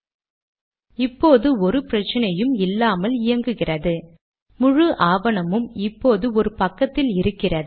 முடிவாக சிசி என்னும் கட்டளை கடிதத்தை மற்றவர்களுக்கும் அனுப்ப உதவுகிறது